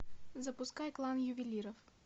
запускай клан ювелиров